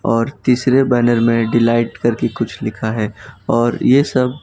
और तीसरे बैनर में डिलीट करके कुछ लिखा है और ये सब --